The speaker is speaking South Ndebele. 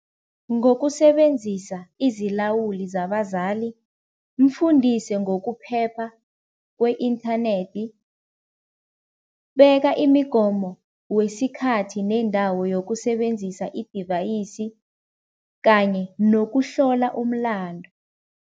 Ngokusebenzisa izilawuli zabazali, mfundise ngokuphepha kwe-inthanethi, beka imigomo wesikhathi nendawo yokusebenzisa i-device kanye nokuhlola umlando.